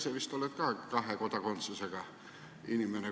Sa ise vist oled ka kahe kodakondsusega inimene.